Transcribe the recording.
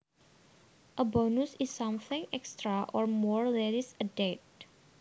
A bonus is something extra or more that is added